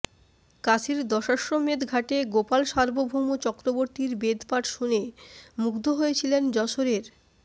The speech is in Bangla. কাশীর দশাশ্বমেধ ঘাটে গোপাল সার্বভৌম চক্রবর্তীর বেদপাঠ শুনে মুগ্ধ হয়েছিলেন যশোরের